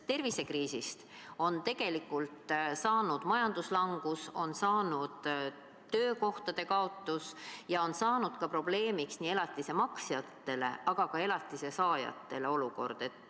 Tervisekriisist on tegelikult saanud majanduslangus, alguse on saanud töökohtade kaotus ja see on probleemiks nii elatise maksjatele kui ka elatise saajatele.